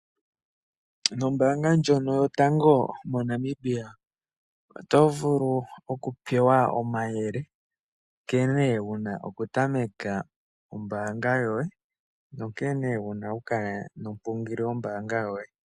Nombaanga ndjono yotango moNamibia, oto vulu okupewa omayele, nkene wu na okutameka ombaanga yoye, nankene wu na okukala nompungulilombaanga yoye.